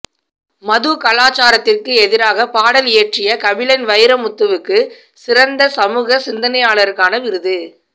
மதுக்கலாச்சாரத்திற்கு எதிராக பாடல் இயற்றிய கபிலன் வைரமுத்துவுக்கு சிறந்த சமூக சிந்தனையாளருக்கான விருது